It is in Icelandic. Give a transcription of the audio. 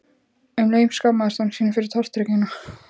Um leið skammaðist hann sín fyrir tortryggnina.